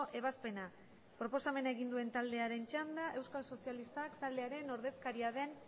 ebazpena proposamena egin duen taldearen txanda euskal sozialistak taldearen ordezkaria den